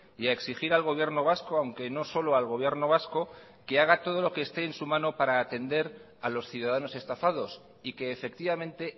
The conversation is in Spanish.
y a exigir al gobierno vasco aunque no solo al gobierno vasco que haga todo lo que esté en su mano para atender a los ciudadanos estafados y que efectivamente